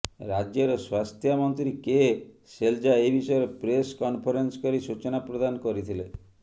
ରାଜ୍ୟର ସ୍ୱାସ୍ଥ୍ୟା ମନ୍ତ୍ରୀ କେ ଶେଲଯା ଏହି ବିଷୟରେ ପ୍ରେସ କନଫରେନ୍ସ କରି ସୂଚନା ପ୍ରଦାନ କରିଥିଲେ